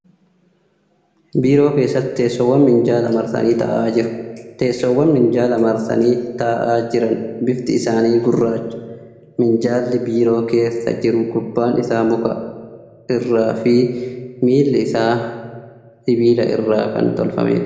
Biiroo keessatti teessoowwan minjaala marsanii taa'aa jieu. Teessoowwan minjaala marsanii taa'aa jiran bifti isaanii gurraacha. Minjaalli biiroo keessa jiru gubbaan isaa muka irraa fi miilli isaa sibiila irraa kan tolfameedha.